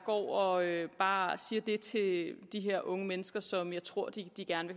og bare siger det til de her unge mennesker som jeg tror de gerne